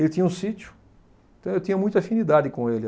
Ele tinha um sítio, então eu tinha muita afinidade com ele.